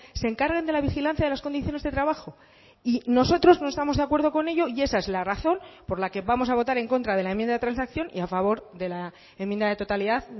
se encarguen de la vigilancia de las condiciones de trabajo y nosotros no estamos de acuerdo con ello y esa es la razón por la que vamos a votar en contra de la enmienda de transacción y a favor de la enmienda de totalidad